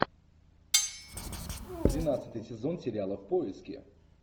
тринадцатый сезон сериала поиски